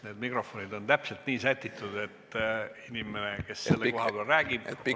Need mikrofonid on täpselt nii sätitud, et inimene, kes selle koha peal räägib, on hästi kuulda.